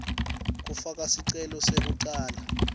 kufaka sicelo sekucala